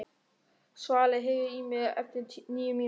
Svali, heyrðu í mér eftir níu mínútur.